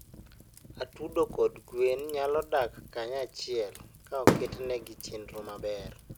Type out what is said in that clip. Atudo kod gwen nyalo dak kanyachiel ka oketnegi chenro maber.